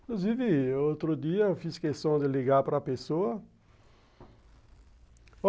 Inclusive, outro dia, eu fiz questão de ligar para pessoa.